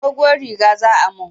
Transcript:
Doguwar riga za ayi mun.